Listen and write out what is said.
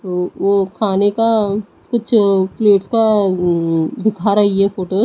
व वो खाने का कुछ प्लेट्स का अं दिखा रही है फोटो --